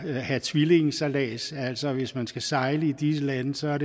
have tvillingesejlads altså at hvis man skal sejle i disse lande så